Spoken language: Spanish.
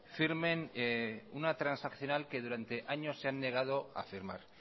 firmen una transaccional que durante años se han negado a firmar